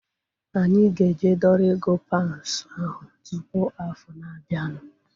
Anyị ga-eje dọrọ ego paunds ahu tụpụ afọ na-abianu